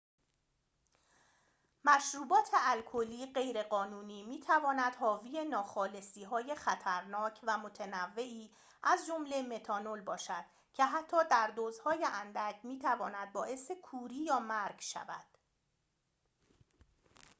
مشروبات الکلی غیرقانونی می تواند حاوی ناخالصی های خطرناک و متنوعی از جمله متانول باشد که حتی در دوزهای اندک می تواند باعث کوری یا مرگ شود